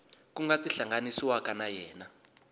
ku nga tihlanganisiwaka na yena